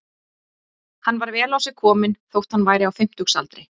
Hann var vel á sig kominn þótt hann væri á fimmtugsaldri.